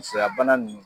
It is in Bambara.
Musoya bana nunnu